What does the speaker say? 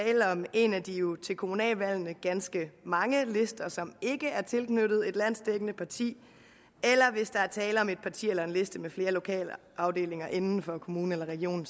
en af de til kommunalvalgene ganske mange lister som ikke er tilknyttet et landsdækkende parti eller hvis der er tale om et parti eller en liste med flere lokale afdelinger inden for kommunen eller regionen